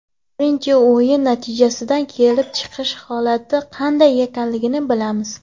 Birinchi o‘yin natijasidan kelib chiqib holatni qanday ekanligini bilamiz.